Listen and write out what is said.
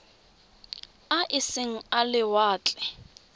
a e seng a lewatle